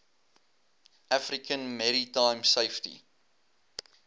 african maritime safety